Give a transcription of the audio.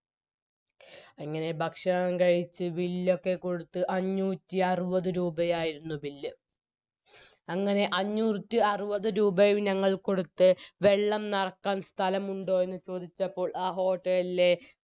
അങ്ങനെ ഭക്ഷണം കഴിച് bill ഒക്കെ കൊടുത്ത് അഞ്ചൂറ്റിയറുപത് രൂപയായിരുന്നു bill അങ്ങനെ അഞ്ചൂറ്റിയറുപത് രൂപയും ഞങ്ങൾ കൊടുത്ത് വെള്ളം നറക്കാൻ സ്ഥലമുണ്ടോ എന്ന് ചോദിച്ചപ്പോൾ ആ hotel ലെ